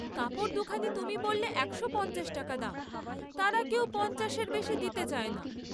কাপড় দুখানা তুমি বল্লে দেড়শো টাকা দাম, তারা কেউ পঞ্চাশের বেশী দিতে চায় না।